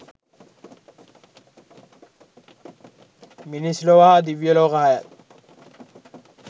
මිනිස් ලොව හා දිව්‍ය ලෝක හයත්